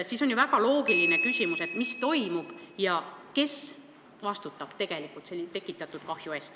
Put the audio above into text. Nii on ju väga loogiline küsimus, mis toimub ja kes vastutab tekitatud kahju eest.